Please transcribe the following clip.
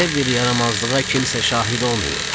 Belə bir yaramazlığa kimsə şahid olmayıb.